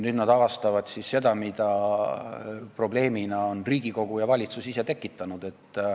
Nüüd nad avastavad seda, mis probleeme on Riigikogu ja valitsus ise tekitanud.